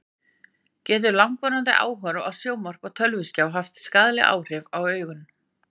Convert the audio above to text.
Getur langvarandi áhorf á sjónvarp og tölvuskjá haft skaðleg áhrif á augun?